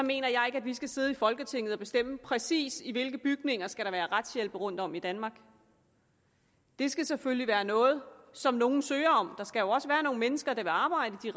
mener jeg ikke at vi skal sidde i folketinget og bestemme præcis i hvilke bygninger der skal være retshjælp rundtom i danmark det skal selvfølgelig være noget som nogle søger om der skal også være nogle mennesker der vil arbejde i